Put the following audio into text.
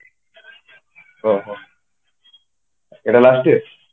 ଅହହୋ ଏଇଟା last year